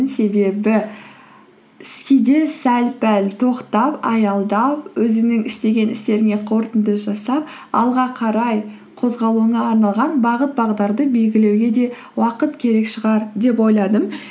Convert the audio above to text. себебі сәл пәл тоқтап аялдап өзіңнің істеген істеріңе қорытынды жасап алға қарай қозғалуыңа арналған бағыт бағдарды белгілеуге де уақыт керек шығар деп ойладым